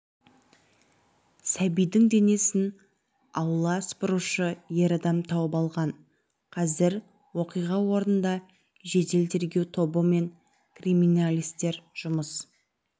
сәбидің денесін аула сыпырушы ер адам тауып алған қазір оқиға орынында жедел-тергеу тобы мен криминалистер жұмыс